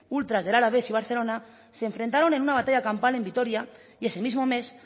ultras del alavés y barcelona se enfrentaron en una batalla campal en vitoria y ese mismo mes